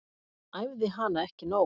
Æfði hana ekki nóg.